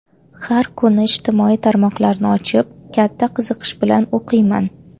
Har kuni ijtimoiy tarmoqlarni ochib, katta qiziqish bilan o‘qiyman.